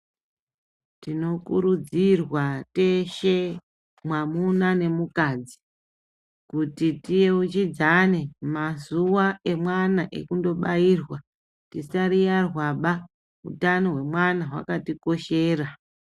Tinokurudzirwa teshe mwamuna nemukadzi kuti tiyeuchidzane mazuva emwana ekundobairwa. Tisariyarwaba, utano hwemwana hwakatikoshera.